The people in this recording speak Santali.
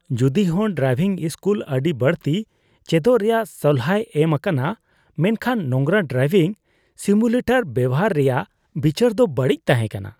ᱡᱩᱫᱤᱦᱚᱸ ᱰᱨᱟᱭᱵᱷᱤᱝ ᱥᱠᱩᱞ ᱟᱹᱰᱤ ᱵᱟᱹᱲᱛᱤ ᱪᱮᱪᱚᱜ ᱨᱮᱭᱟᱜ ᱥᱚᱞᱦᱟᱣ ᱮᱢ ᱟᱠᱟᱱᱟ, ᱢᱮᱱᱠᱷᱟᱱ ᱱᱚᱝᱨᱟ ᱰᱨᱤᱵᱷᱤᱝ ᱥᱤᱢᱩᱞᱤᱴᱚᱨ ᱵᱮᱶᱦᱟᱨ ᱨᱮᱭᱟᱜ ᱵᱤᱪᱟᱹᱨ ᱫᱚ ᱵᱟᱹᱲᱤᱡ ᱛᱟᱦᱮᱸ ᱠᱟᱱᱟ ᱾